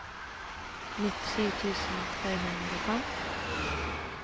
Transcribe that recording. nittisju tusen tre hundre og fem